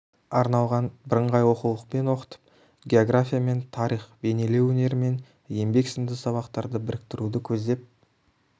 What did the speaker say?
арналған бірыңғай оқулықпен оқытып география мен тарих бейнелеу өнері мен еңбек сынды сабақтарды біріктіруді көздеп